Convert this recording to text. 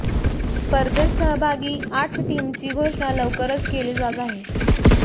स्पर्धेत सहभागी आठ टीमची घोषणा लवकरच केली जात आहे